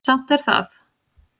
Samt er það